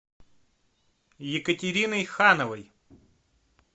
екатериной хановой